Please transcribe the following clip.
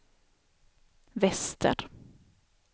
väster